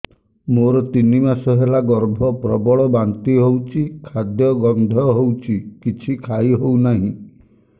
ମୋର ତିନି ମାସ ହେଲା ଗର୍ଭ ପ୍ରବଳ ବାନ୍ତି ହଉଚି ଖାଦ୍ୟ ଗନ୍ଧ ହଉଚି କିଛି ଖାଇ ହଉନାହିଁ